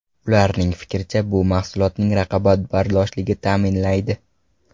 Ularning fikricha, bu mahsulotning raqobatbardoshligini ta’minlaydi.